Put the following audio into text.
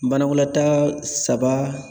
Banakɔlata saba